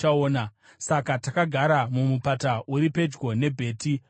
Saka takagara mumupata uri pedyo neBheti Peori.